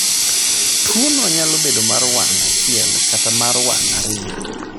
Tuwono nyalo bedo mar wang ' achiel kata mar wang ' ariyo.